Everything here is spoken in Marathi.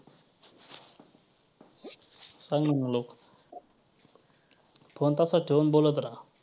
सांग ना मग लवक phone तसाच ठेऊन बोलत रहा.